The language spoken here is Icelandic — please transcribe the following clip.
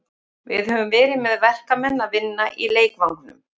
Við höfum verið með verkamenn að vinna í leikvangnum.